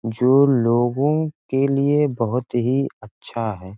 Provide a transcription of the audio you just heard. जो लोगों के लिए बहुत ही अच्छा है।